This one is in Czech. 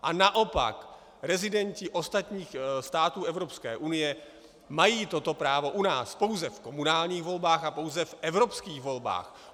A naopak rezidenti ostatních států Evropské unie mají toto právo u nás - pouze v komunálních volbách a pouze v evropských volbách.